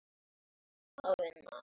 Það hefur skilað sér.